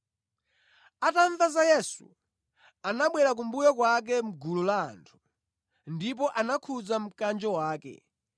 Atamva za Yesu, anabwera kumbuyo kwake mʼgulu la anthu ndipo anakhudza mkanjo wake,